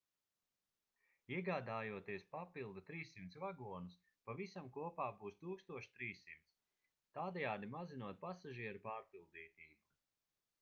iegādājoties papildu 300 vagonus pavisam kopā būs 1300 tādējādi mazinot pasažieru pārpildītību